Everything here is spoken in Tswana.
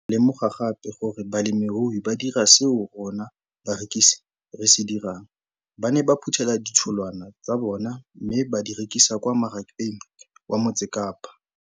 Ke ne ka lemoga gape gore balemirui ba dira seo rona barekisi re se dirang, ba ne ba phuthela ditholwana tsa bona mme ba di rekisa kwa marakeng wa Motsekapa.